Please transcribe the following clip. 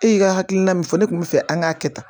E y'i ka hakilina min fɔ ne kun bɛ fɛ an k'a kɛ tan